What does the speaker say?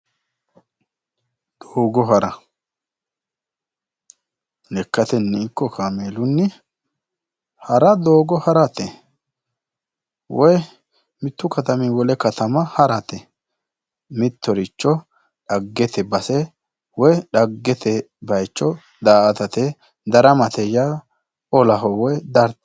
Lekkateni ikko kameelunni ha'ra doogo harate woyi mitu katamini wole katama harate mittoricho dhaggete base woyi dhaggete bayicho daa"atate daramate yaa olamate woyi daramate.